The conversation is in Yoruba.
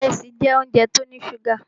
Ìrẹsì jẹ́ óúnjẹ tó ní ṣúgà.